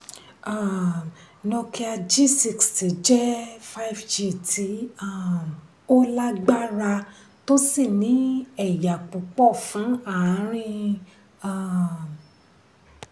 um nokia g sixty jẹ́ five g tí um ó lágbára tó sì ní ẹ̀yà púpọ̀ fún àárín. um